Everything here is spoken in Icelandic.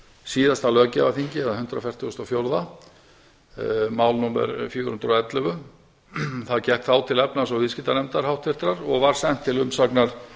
síðasta löggjafarþingi eða hundrað fjörutíu og fjögur mál númer fjögur hundruð og ellefu það gekk þá til háttvirtrar efnahags og viðskiptanefndar og var sent til umsagnar